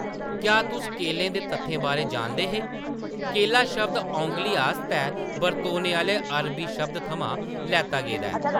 क्या‌ तुस केलें दे तत्थें बारै जानदे हे? ‘ केला’ शब्द ‘औंगली’ आस्तै बरतोने आह्‌ले अरबी शब्द थमां लैता गेदा ऐ ।